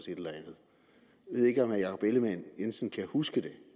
jeg ved ikke om herre jakob ellemann jensen kan huske